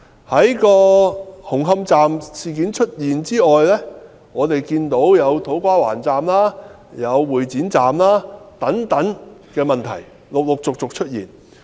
在紅磡站事件發生後，我們看到土瓜灣站、會展站等工程問題陸續出現。